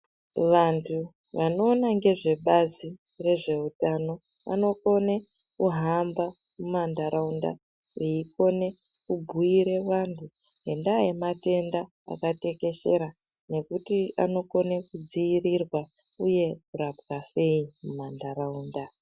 Vantu vanoona ngezvebazi rezveutano vanokone kuhamba mumantaraunda veikone kubhuire vantu ngendaa yematenda akatekeshera. Nekuti anokone kudzirirwa uye kurapwa sei mumantaraunda.